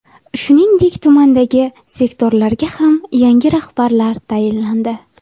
Shuningdek, tumandagi sektorlarga ham yangi rahbarlar tayinlandi.